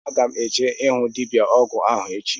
Aga m eje ịhụ dibịa ọgwụ ahụ echi